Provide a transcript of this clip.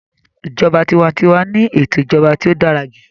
Ìjọba tiwantiwa ni ètò ìjọba tí ó dára jù